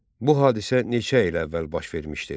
Bu hadisə neçə il əvvəl baş vermişdir?